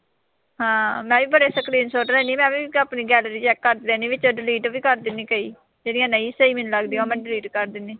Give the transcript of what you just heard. ਹਾਂ, ਮੈਂ ਵੀ ਬੜੇ screenshot ਲੈਨੀ ਆ। ਮੈਂ ਵੀ ਆਪਣੀ gallery check ਕਰਦੀ ਰਹਿਨੀ ਆਂ ਤੇ delete ਵੀ ਕਰ ਦਿਨੀ ਆਂ ਕਈ, ਜਿਹੜੀਆਂ ਨਹੀਂ ਸਹੀ ਮੈਨੂੰ ਲੱਗਦੀਆਂ ਉਹ ਮੈਂ delete ਕਰ ਦਿੰਨੀ ਆਂ।